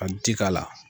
Ka ji k'a la